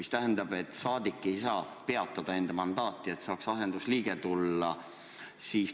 See rahvasaadik ei saa enda mandaati peatada, et saaks asendusliige Riigikokku.